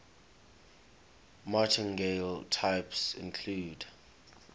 martingale types include